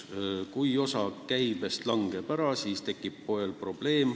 Kui osa käibest langeb ära, siis tekib poel probleem.